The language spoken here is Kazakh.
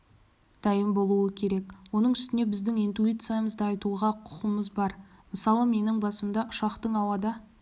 дайын болуы керек оның үстіне біздің интуициямызды айтуға құқығымыз бар мысалы менің басымда ұшақтың ауада